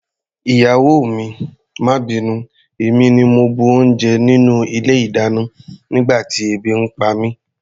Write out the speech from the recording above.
Ìyàwó mi, má bínú, èmi ni mo bu oúnjẹ nínú ilé-ìdáná nígbà tí ebi ń pa mí.